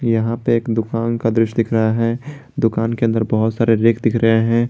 यहां पे एक दुकान का दृश्य दिख रहा है दुकान के अंदर बहुत सारे रैक दिख रहे हैं।